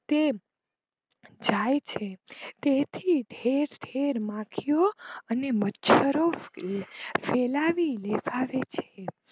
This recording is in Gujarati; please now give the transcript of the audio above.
તે જાય છે તેથી ઠેર ઠેર માખીઓ અને મચ્છરો ફેલાવી દે છે.